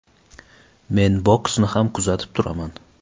Men boksni ham kuzatib turaman.